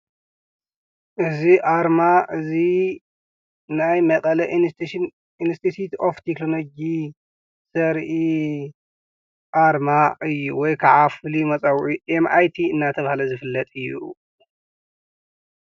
እዚ አርማ እዚ ናይ መቐለ ኢንስቲቲዩት ኦፍ ቴክኖሎጂ ዘርኢ አርማ እዩ፡፡ ወይ ከዓ ፍሉይ መፀውዒ ኤምአይቲ እናተብሃለ ዝፍለጥ እዩ፡፡